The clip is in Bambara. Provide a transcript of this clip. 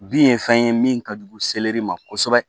Bin ye fɛn ye min ka jugu seleri ma kosɛbɛ